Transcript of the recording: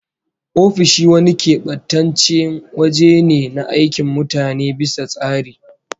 Ofishi wani kebantaccen waje ne na aikin mutane bisa tsari